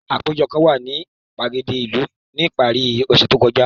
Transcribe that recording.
Apejo kan wa ni gbagede ilu ni ipari ọse to kọja.